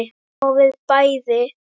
Og við bæði.